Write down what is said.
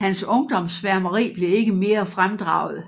Hans ungdomssværmeri blev ikke mere fremdraget